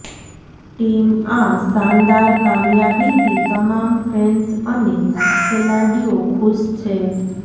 team આ શાનદાર કામીયાબી થી તમામ ફેંન્સ અને ખેલાડીઓ ખુશ છે